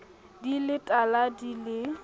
di le tala di le